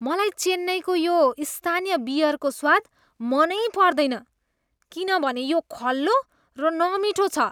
मलाई चेन्नईको यो स्थानीय बियरको स्वाद मनै पर्दैन किनभने यो खल्लो र नमिठो छ।